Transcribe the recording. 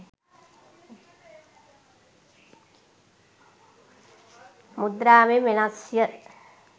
මුද්‍රාවෙන් වෙනස් ය.